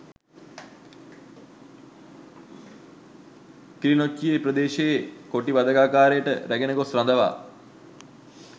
කිලිනොච්චිය ප්‍රදේශයේ කොටි වධකාගාරයට රැගෙන ගොස් රඳවා